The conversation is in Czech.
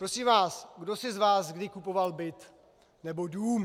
Prosím vás, kdo si z vás kdy kupoval byt nebo dům.